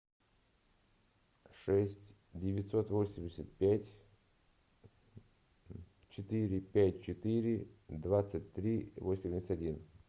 шесть девятьсот восемьдесят пять четыре пять четыре двадцать три восемьдесят один